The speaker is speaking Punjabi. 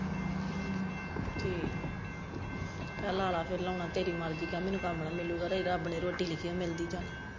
ਹਮ ਠੀਕ ਹੈ ਕਹਿ ਲਾ ਲੈ ਫਿਰ ਲਾਉਣਾ ਤੇਰੀ ਮਰਜੀ ਕਹਿ ਮੈਨੂੰ ਕੰੰਮ ਨਹੀਂ ਮਿਲੂਗਾ ਰੱਬ ਨੇ ਰੋਟੀ ਲਿੱਖੀ ਹੈ ਮਿਲਦੀ ਜਾਂ ਨਹੀਂ।